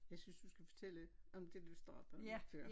Jeg synes du skal fortælle om det du startede med før